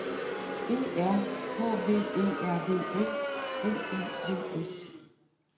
E R H V E R V S L I V S